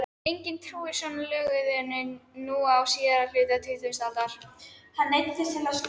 Enginn trúir svona löguðu nú á síðari hluta tuttugustu aldar.